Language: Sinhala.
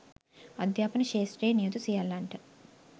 අධ්‍යාපන ක්ෂේත්‍රයේ නියුතු සියල්ලන්ට